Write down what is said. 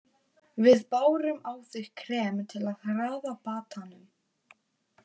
Við bárum á þig krem til að hraða batanum.